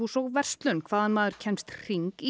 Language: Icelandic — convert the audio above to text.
og verslun hvaðan maður kemst hring í